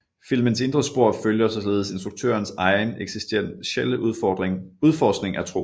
Filmens indre spor følger således instruktørens egen eksistentielle udforskning af tro